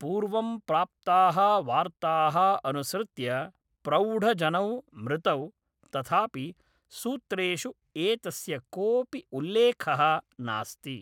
पूर्वं प्राप्ताः वार्ताः अनुसृत्य प्रौढजनौ मृतौ, तथापि सूत्रेषु एतस्य कोऽपि उल्लेखः नास्ति।